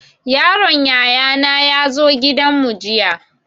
Yaron yaya na ya zo gidan mu jiya